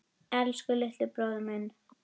Elsku litli bróðir minn.